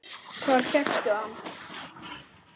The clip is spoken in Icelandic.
Hvar fékkstu hann?